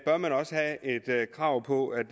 krav på at